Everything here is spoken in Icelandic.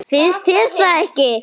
Finnst þér það ekki?